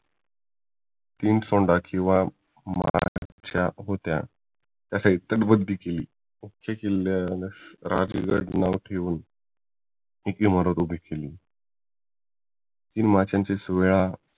तीन सोंडांची महाराजांच्या होत्या त्याची केली त्या किल्ल्याचे राजगड नाव ठेवून केली